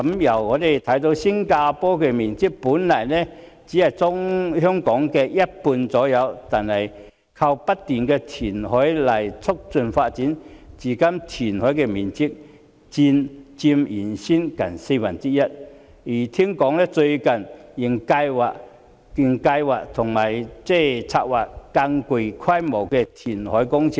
我們看到新加坡的面積本來只是約為香港的一半，而新加坡正正是透過不斷的填海來促進發展，至今填海的面積佔原先面積近四分之一，聽說最近仍在策劃更具規模的填海工程。